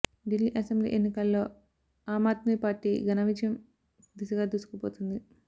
Delhi assembly ఎన్నికల్లో ఆమ్ ఆద్మీ పార్టీ ఘానా విజయం దిశగా దూసుకుపోతుంది